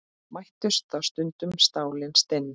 Mættust þá stundum stálin stinn.